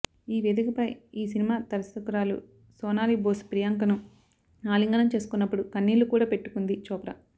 ఈ వేదికపై ఈ సినిమా దర్శకురాలు సోనాలి బోస్ ప్రియాంకను ఆలింగనం చేసుకున్నప్పుడు కన్నీళ్లు కూడా పెట్టుకుందీ చోప్రా